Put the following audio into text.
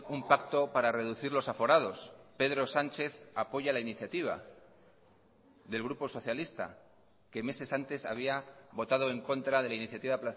un pacto para reducir los aforados pedro sánchez apoya la iniciativa del grupo socialista que meses antes había votado en contra de la iniciativa